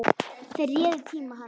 Þeir réðu tíma hans.